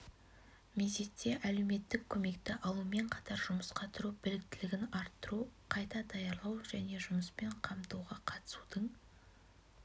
мезетте әлеуметтік көмекті алумен қатар жұмысқа тұру біліктілігін арттыру қайта даярлау және жұмыспен қамтуға қатысудың